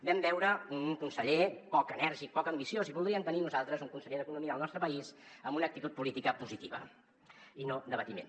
vam veure un conseller poc enèrgic poc ambiciós i voldríem tenir nosaltres un conseller d’economia al nostre país amb una actitud política positiva i no d’aba·timent